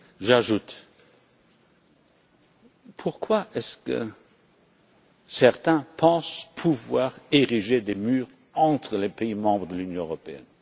réponse. J'ajoute pourquoi est ce que certains pensent pouvoir ériger des murs entre les pays membres de l'Union européenne?